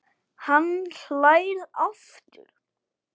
Hann hlær aftur.